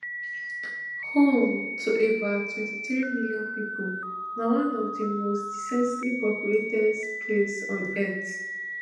home to about twenty-three million pipo na one of di most densely populated places on earth